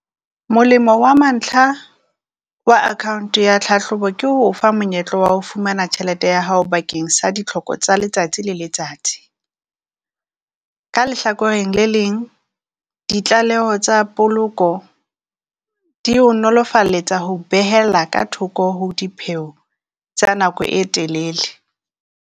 Molemo wa mantlha wa account ya tlhahlobo ke ho o fa monyetla wa ho fumana tjhelete ya hao bakeng sa ditlhoko tsa letsatsi le letsatsi. Ka lehlakoreng le leng, ditlaleho tsa poloko di ho nolofaletsa ho behela ka thoko ho dipheo tsa nako e telele.